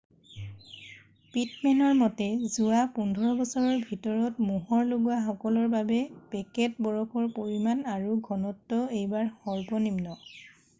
পিটমেনৰ মতে যোৱা 15 বছৰৰ ভিতৰত মোহৰ লগোৱা সকলৰ বাবে পেকেট বৰফৰ পৰিমাণ আৰু ঘনত্ব এইবাৰ সৰ্বনিম্ন